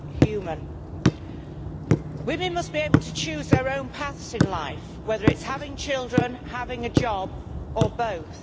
human? Women must be able to choose their own paths in life, whether it is having children, having a job or both.